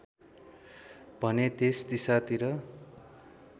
भने त्यस दिशातिर